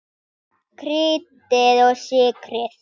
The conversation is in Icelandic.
Kryddið og sykrið.